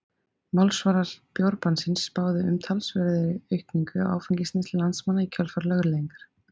Málsvarar bjórbannsins spáðu umtalsverðri aukningu á áfengisneyslu landsmanna í kjölfar lögleiðingar.